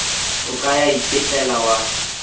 o ka ya itefela wa